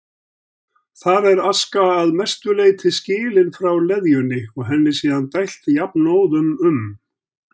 Þar er aska að mestu leyti skilin frá leðjunni og henni síðan dælt jafnóðum um